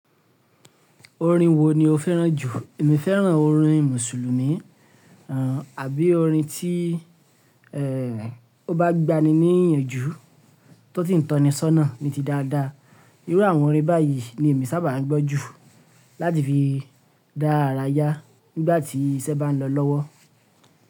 Orin wo ni o fẹ́ràn jù? Èmi fẹ́ràn orin Mùsùlùmí, àbí orin tí eh o bá gba ni ní ìyànjú tó ti ń tọni ṣọ́nà ni ti dáadáa. Irú àwọn orin báyìí ni èmi sábà ń gbọ́ jù láti fi dá ara yá nígbà tí iṣẹ́ bá ń lọ lọ́wọ́.